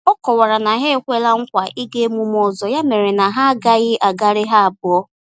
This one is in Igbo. Ọ kọwara na ha ekwela nkwa ịga emume ọzọ ya mere na ha agaghị agalị ha abụọ